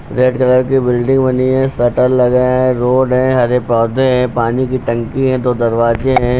Red colour की building बनी है शटर लगा है रोड है हरे पौधे हैं पानी की टंकी है दो दरवाजे हैं।